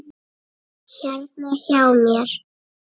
Hérna hjá mér.